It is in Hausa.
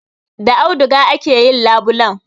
Da auduga aka yi labulen.